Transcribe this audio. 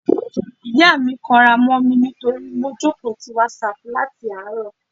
Ìyá mi kanra mó mi nítorí mo jókòó ti WhatsApp láti àárọ̀.